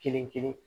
Kelen kelen